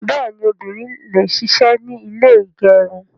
Bẹ́ẹ̀ni, obìnrin le ṣisẹ́ ní ilé ígẹrun